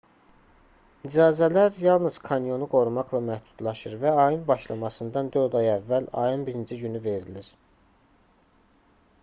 i̇cazələr yalnız kanyonu qorumaqla məhdudlaşır və ayın başlamasından dörd ay əvvəl ayın 1-ci günü verilir